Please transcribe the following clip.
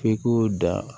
F'i k'o da